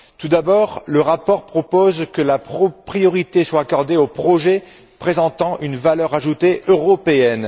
Tout d'abord, le rapport propose que la priorité soit accordée aux projets présentant une valeur ajoutée européenne.